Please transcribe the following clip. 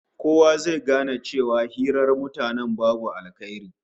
Kowa zai gane cewa hirar mutanen babu alheri ciki